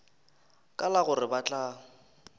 ka la gore ba tla